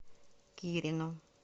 кирину